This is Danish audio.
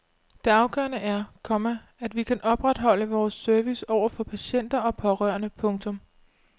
Det afgørende er, komma at vi kan opretholde vores service over for patienter og pårørende. punktum